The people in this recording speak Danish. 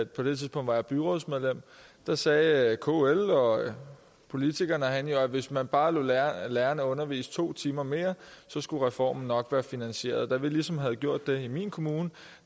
på det tidspunkt var jeg byrådsmedlem sagde kl og politikerne herinde at hvis man bare lod lærerne lærerne undervise to timer mere så skulle reformen nok være finansieret da vi ligesom havde gjort det i min kommune